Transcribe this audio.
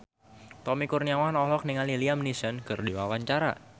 Tommy Kurniawan olohok ningali Liam Neeson keur diwawancara